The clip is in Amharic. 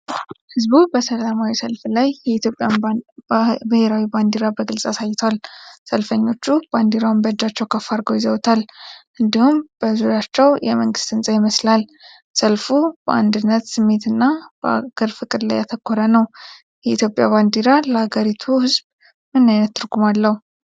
ሕዝቡ በሰላማዊ ሰልፍ ላይ የኢትዮጵያን ብሔራዊ ባንዲራ በግልጽ አሳይቷል። ሰልፈኞቹ ባንዲራውን በእጃቸው ከፍ አድርገው ይዘውታል፣ እንዲሁም በዙሪያቸው የመንግስት ህንፃ ይመስላል። ሰልፉ በአንድነት ስሜትና በአገር ፍቅር ላይ ያተኮረ ነው። የኢትዮጵያ ባንዲራ ለአገሪቱ ሕዝብ ምን ዓይነት ትርጉም አለው?